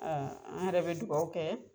A an yɛrɛ be dugawu kɛ